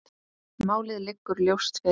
Málið liggur ljóst fyrir.